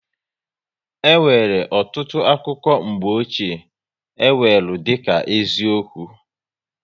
E nwere ọtụtụ akụkọ mgbochie, e weru dịka eziokwu